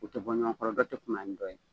U tɛ bɔɲɔgɔnkɔrɔ tɛ kuma nintɔ ye